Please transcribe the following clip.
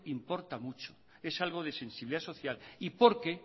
importa mucho es algo de sensibilidad social y porque